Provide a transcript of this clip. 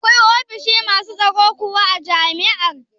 Akwai ofishi masu tsaro kuwa a jami'ar?